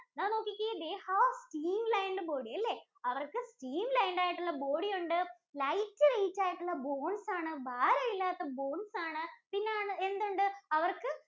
ഇതാ നോക്കിക്കേ they have streamlined body അല്ലേ, അവര്‍ക്ക് stream line ആയിട്ടുള്ള body ഉണ്ട്. Lightweight ആയിട്ടുള്ള bones ആണ്. ഭാരം ഇല്ലാത്ത bones ആണ്. പിന്നെ എന്തുണ്ട്? അവര്‍ക്ക്